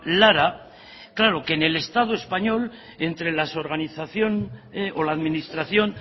lara claro que en el estado español entre la administración